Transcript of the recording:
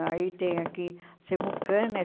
Aí tem aqui, Cemucam, né?